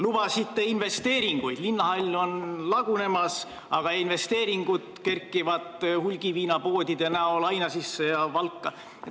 Lubasite investeeringuid, aga linnahall on lagunemas ja investeeringute toel kerkivad hulgiviinapoed Ainažisse ja Valka.